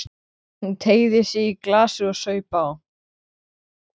Hún teygði sig í glasið og saup á.